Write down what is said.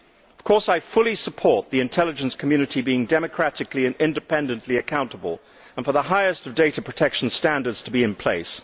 Of course, I fully support the intelligence community being democratically and independently accountable and the highest data protection standards being put in place.